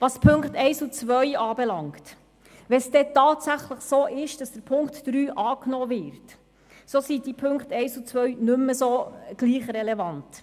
Was die Punkte 1 und 2 anbelangt: Sollte Punkt 3 tatsächlich angenommen werden, wären die beiden anderen Punkte nicht mehr gleichermassen relevant.